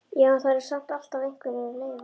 Já, en það eru samt alltaf einhverjar leifar.